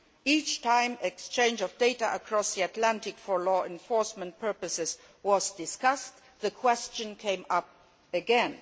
Each time exchange of data across the Atlantic for law enforcement purposes has been discussed, the question has come up again.